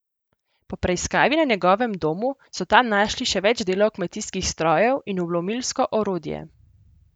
Po preiskavi na njegovem domu so tam našli še več delov kmetijskih strojev in vlomilsko orodje.